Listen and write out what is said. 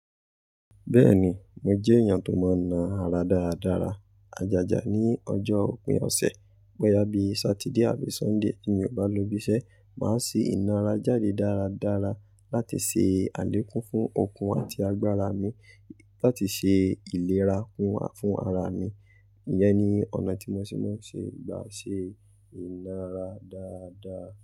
Bẹ́ẹ̀ni, mo jẹ́ èèyàn tó mọń na ara dáradára. Ajaja ní ọjọ́ òpin ọ̀sẹ̀, boyà bí Satide àbí Sunday tí mi ò bá lọ ibi iṣẹ́, màá ṣ ìnara jáde dáradára láti ṣe àlékún fún okun àti agbára mi, láti ṣe ìlera fún, fún ara mi. Iyẹn ni ọ̀nà tí mo ṣe mọń ṣe gbà ṣe ìnara dáadáa.